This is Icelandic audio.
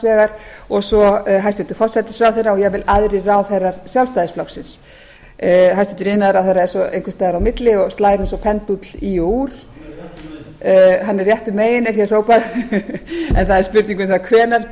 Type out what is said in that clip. vegar og svo hæstvirtur forsætisráðherra og jafnvel aðrir ráðherrar sjálfstæðisflokksins hæstvirtur iðnaðarráðherra er svo einhvers staðar á milli og slær eins og pendúll í og úr hann er réttu megin er hér hrópað en það er spurning um það